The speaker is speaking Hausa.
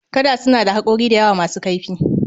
Kada suna da haƙora da yawa masu kaifi